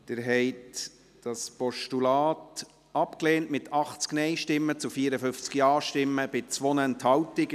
Sie haben dieses Postulat abgelehnt, mit 80 Nein- zu 54 Ja-Stimmen bei 2 Enthaltungen.